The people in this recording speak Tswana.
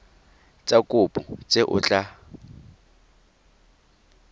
tsa kopo tse o tla